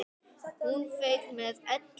Hún fauk með öllu.